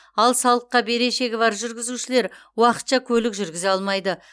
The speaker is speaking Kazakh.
ал салыққа берешегі бар жүргізушілер уақытша көлік жүргізе алмайды